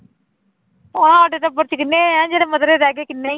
ਉਹ ਸਾਡੇ ਟੱਬਰ ਚ ਕਿੰਨੇ ਹੈ ਜਿਹੜੇ ਮੱਧਰੇ ਰਹਿ ਗਏ ਕਿੰਨੇ ਹੀ